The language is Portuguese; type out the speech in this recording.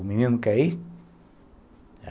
O menino quer ir?